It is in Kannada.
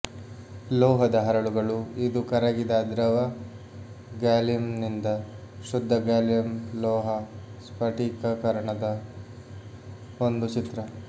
ಲೋಹದ ಹರಳುಗಳು ಇದು ಕರಗಿದ ದ್ರವ ಗ್ಯಾಲಿಯಂನಿಂದ ಶುದ್ಧ ಗಾಲಿಯಂ ಲೋಹ ಸ್ಫಟಿಕೀಕರಣದ ಒಂದು ಚಿತ್ರ